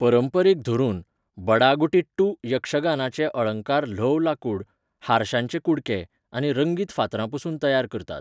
परंपरेक धरून, बडागुटिट्टू यक्षगानाचे अळंकार ल्हव लाकूड, हारशांचे कुडके, आनी रंगीत फातरांपसून तयार करतात.